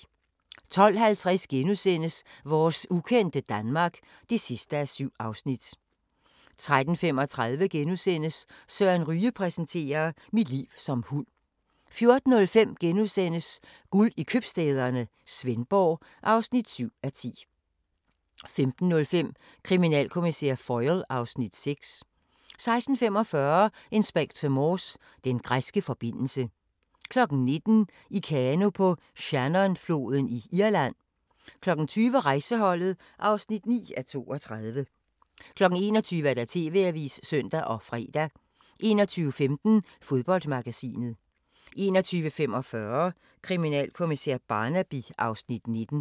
12:50: Vores ukendte Danmark (7:7)* 13:35: Søren Ryge præsenterer: "Mit liv som hund" * 14:05: Guld i Købstæderne – Svendborg (7:10)* 15:05: Kriminalkommissær Foyle (Afs. 6) 16:45: Inspector Morse: Den græske forbindelse 19:00: I kano på Shannonfloden i Irland 20:00: Rejseholdet (9:32) 21:00: TV-avisen (søn og fre) 21:15: Fodboldmagasinet 21:45: Kriminalkommissær Barnaby (Afs. 19)